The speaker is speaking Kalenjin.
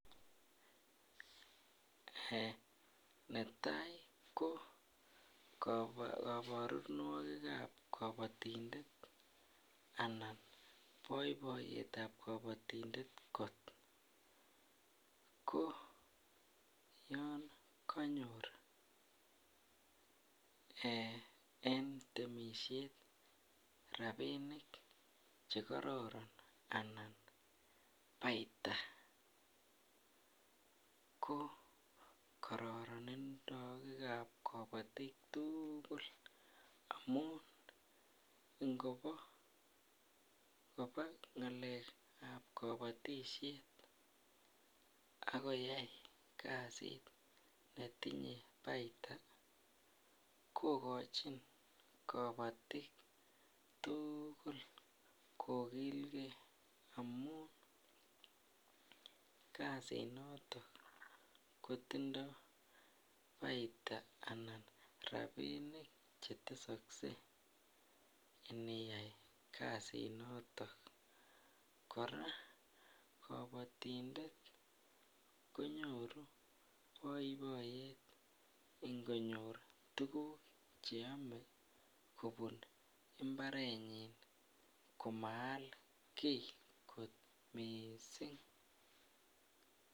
Netai ko kaborunoik anan boiboyet ab kabatindet kot ko yon konyor en temisiet rabinik Che kororon anan paita ko kororoninwek ab kabatik tugul amun ngoba ngalek ab kabatisiet ak koyai kasit netinye paita kogochin kabatik tugul kogilgei amun kasinaton kotindoi paita anan rabinik Che tesoksei iniyai kasinaton kora kabatindet konyoru boiboyet ingonyor tuguk Che Amee kobun mbarenyin komaal kii kot mising